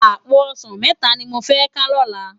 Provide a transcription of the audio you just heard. Àpó òsán mètá ni mó fè ká lòlá